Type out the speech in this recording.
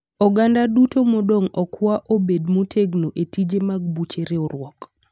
Oganda duto okwa modong obed motegno e tije mag buche riwruok.